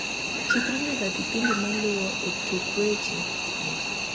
chikri nyaka kipindi maluo e tuku weche gi